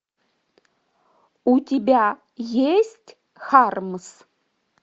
у тебя есть хармс